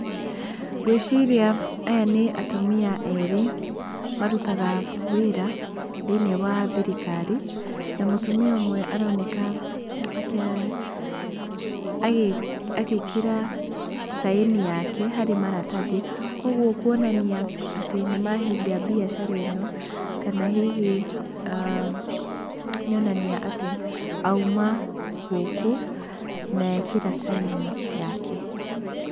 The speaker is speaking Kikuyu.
Ngwĩciria aya nĩ atumia erĩ marutaga wĩra thĩiniĩ wa thirikari, na mũtumia ũmwe aroneka agĩĩkĩra sign yake harĩ maratathi, koguo kuonania atĩ nĩmahinga mbiacara ĩno, kana hihi nĩonania atĩ auma gũkũ na ekĩra sign yake.